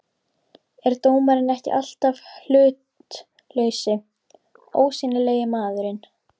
er dómarinn ekki alltaf hlutlausi, ósýnilegi maðurinn?